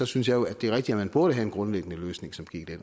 synes jeg jo at det er rigtigt at man burde have en grundlæggende løsning som gik i